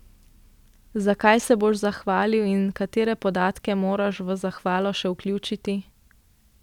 Za kaj se boš zahvalil in katere podatke moraš v zahvalo še vključiti?